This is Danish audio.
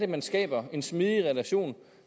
man skaber en smidig relation